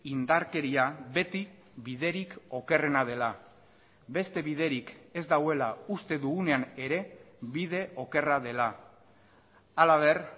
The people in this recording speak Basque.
indarkeria beti biderik okerrena dela beste biderik ez dagoela uste dugunean ere bide okerra dela halaber